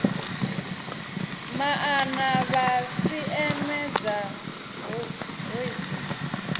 maana vha sisieme dza hoisiso